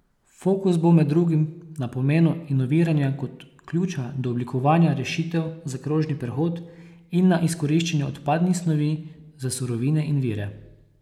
Fokus bo med drugim na pomenu inoviranja kot ključa do oblikovanja rešitev za krožni prehod in na izkoriščanju odpadnih snovi za surovine in vire.